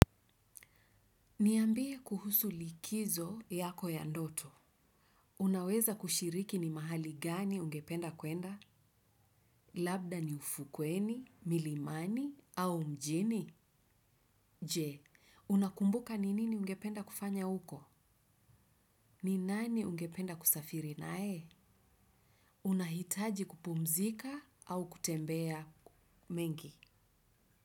Niambie kuhusu likizo yako ya ndoto. Unaweza kushiriki ni mahali gani ungependa kwenda? Labda ni ufukweni, milimani, au mjini? Je, unakumbuka ni nini ungependa kufanya uko? Ni nani ungependa kusafiri naye? Unahitaji kupumzika au kutembea mengi?